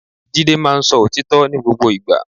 Jídé máa ń sọ òtítọ́ ní gbogbo ìgbà